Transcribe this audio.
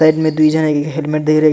साइड में design helmet दे रही --